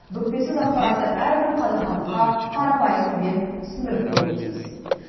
бүкпесіз ақпаратты әрбір қазақстандыққа қарапайым тілмен түсіндіріп беруі тиіс